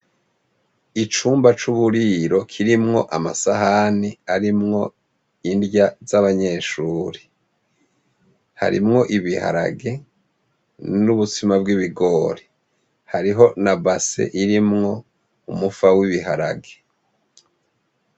Icumba c'uburiro kirimwo amasahani arimwo indya z'abanyeshure, harimwo ibiharage n'ubutsima bw'ibigori, harimwo ni base irimwo umufa w'ibiharage.